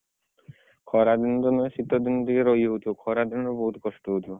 ଖରା ଦିନ ତ ନୁହେଁ ଶୀତ ଦିନେ ଟିକେ ରହିଯାଉଥିବ ଖରା ଦିନ ଟିକେ ବହୁତ କଷ୍ଟ ହଉଥିବ।